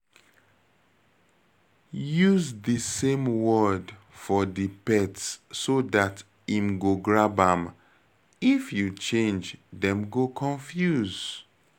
Use di same word for di pet so dat im go grab am, if you change dem go confuse